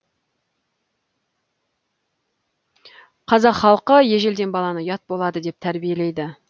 қазақ халқы ежеледен баланы ұят болады деп тәрбиелейді